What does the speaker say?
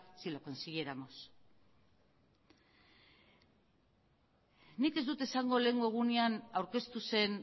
si lo consiguiéramos nik ez dut esango lehengo egunean aurkeztu zen